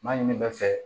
Ma ɲini bɛ fɛ